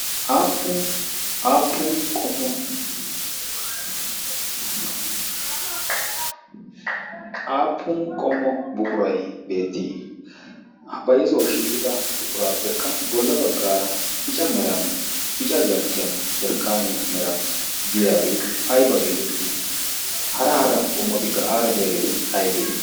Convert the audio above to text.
aappun qommo buquray beettii a bayzuwau shiiqida buquraappekka bolla baggaara bica meran bica jarkkiyan jarkkaaniyaa meran diyaagee ayba geetettii? hara hara qommotikka aara diyaageeti aybee?